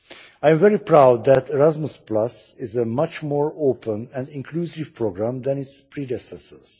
I am very proud that Erasmus is a much more open and inclusive programme than its predecessors.